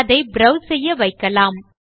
அதை ப்ரோவ்ஸ் செய்ய வைக்கலாம்